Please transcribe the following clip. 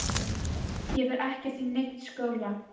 Ég fer ekkert í neinn skóla!